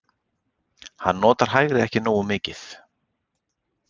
Hann notar hægri ekki nógu mikið.